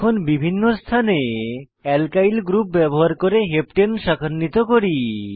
এখন বিভিন্ন স্থানে অ্যালকিল গ্রুপ ব্যবহার করে হেপ্টানে হেপ্টেন শাখান্বিত করি